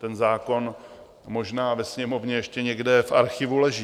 Ten zákon možná ve Sněmovně ještě někde v archivu leží.